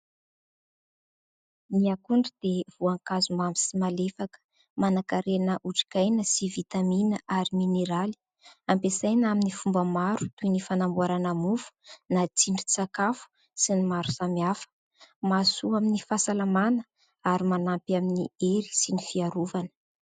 Ny akondro dia voankazo mamy sy malefaka, manankarena otrikaina sy vitamina ary mineraly. Ampiasaina amin'ny fomba maro toy ny fanamboarana mofo na tsindrin-tsakafo sy ny maro samihafa. Mahasoa amin'ny fahasalamana ary manampy amin'ny hery sy ny fiarovana.